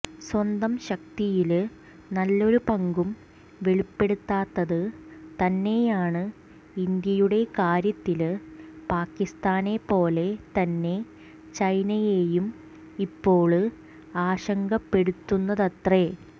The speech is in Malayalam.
സ്വന്തം ശക്തിയില് നല്ലൊരു പങ്കും വെളിപ്പെടുത്താത്തത് തന്നെയാണ് ഇന്ത്യയുടെ കാര്യത്തില് പാക്കിസ്ഥാനെ പോലെ തന്നെ ചൈനയെയും ഇപ്പോള് ആശങ്കപ്പെടുത്തുന്നതത്രെ